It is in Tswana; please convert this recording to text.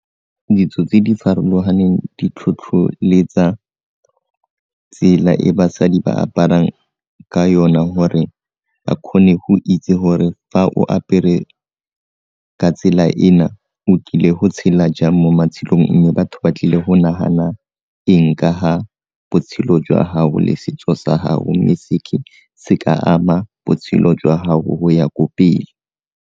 Ditso tse di farologaneng di tlhotlholetsa tsela e basadi ba aparang ka yona gore ba kgone go itse gore fa o apere ka tsela ena o tlile go tshela jang mo matshelong mme batho ba tlile go nagana eng ka ga botshelo jwa gago le setso sa gago mme se ka ama botshelo jwa gago go ya ko pele.